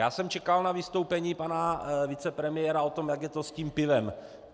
Já jsem čekal na vystoupení pana vicepremiéra o tom, jak je to s tím pivem.